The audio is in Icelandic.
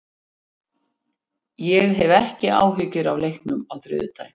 Ég hef ekki áhyggjur af leiknum á þriðjudag.